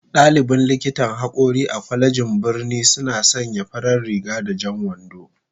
Dalibin likitan hakori a kwalejin birnin suna sanya farar riga da jan wando